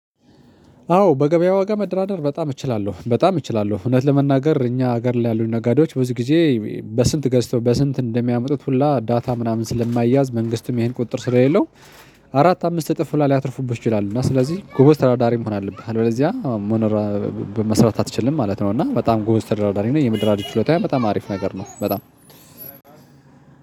አዎ በገበያ ዋጋ መደራደር በጣም እችላለሁ በጣም እችላለሁ እውነት ለመናገር እኛ ሀገር ላይ ያሉ ነጋዴዎች ብዙ ጊዜ በስንት ገዝተው በስንት እንደሚያመጡት ሁላ ዳታ ምናምን ስለማይያዝ መንግስትም ይሄን ቁጥጥር ስለሌለው። አራት አምስት እጥፍ ላይ ሊያትርፉበት ይችላል እና ስለዚህ ጎበዝ ተራዳሪ መሆን አለብህ። አለዚያ መኖር መስራት አትችልም ማለት ነው። እና በጣም ጎበዝ ተደራዳሪ ነው የምድር አዲስ ችሎታው በጣም አሪፍ ነገር ነው። በጣም